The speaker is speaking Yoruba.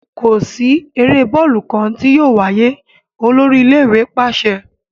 Ko si ere bọọlu kan ti yóò waye, olori ile-iwe paṣẹ!